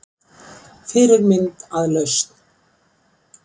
Fyrirmynd að lausn